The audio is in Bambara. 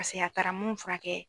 pasege a taara mun furakɛ